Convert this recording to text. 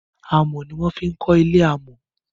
amò ní wan fí ko'le amò